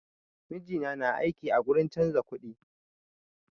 Mijina na aiki a gurin canza kuɗi